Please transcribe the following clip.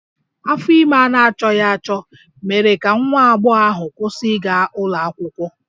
Afọ ime a na-achọghị achọ mere ka nwa agbọghọ ahụ kwụsị ịga ụlọ akwụkwọ